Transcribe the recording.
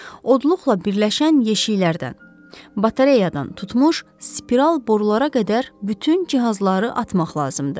Odluqla birləşən yeşiklərdən, batareyadan tutmuş spiral borulara qədər bütün cihazları atmaq lazımdır.